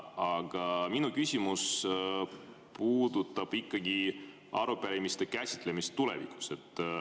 Aga minu küsimus puudutab ikkagi arupärimiste käsitlemist tulevikus.